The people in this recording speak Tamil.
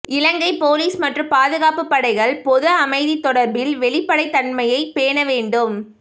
இலங்கை பொலிஸ் மற்றும் பாதுகாப்பு படைகள் பொது அமைதி தொடர்பில் வெளிப்படைத்தன்மையை பேண வேண்டும்